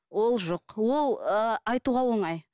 ол жоқ ол ыыы айтуға оңай